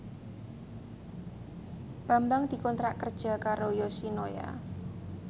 Bambang dikontrak kerja karo Yoshinoya